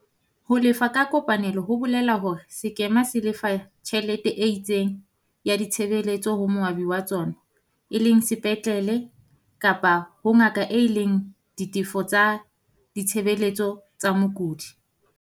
Ho lefa ka kopanelo ho bole la hore sekema se lefa tjhelete e itseng ya ditshebeletso ho moabi wa tsona e leng sepatlele kapa ho ngaka e leng ditefo tsa ditshebeletso tsa mokudi.